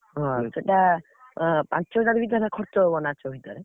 ହଁ ସେଟା ପାଞ୍ଚ ହଜାର ଭିତରେ ଖର୍ଚ୍ଚ ହବ ନାଚଗୀତରେ।